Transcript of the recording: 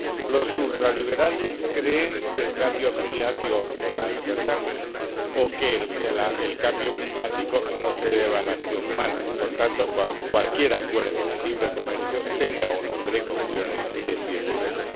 Los ultraliberales creen que el cambio climático no es verdad, o que el cambio climático no se debe a la acción humana, por tanto, cualquier acuerdo de libre comercio, tenga o no precauciones, es bienvenido.